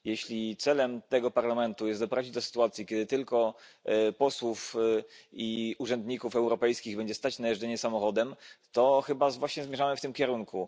Jeśli celem tego Parlamentu jest doprowadzenie do sytuacji, w której tylko posłów i urzędników europejskich będzie stać na jeżdżenie samochodem, to chyba właśnie zmierzamy w tym kierunku.